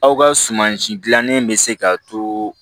Aw ka sumansi dilannen bɛ se ka to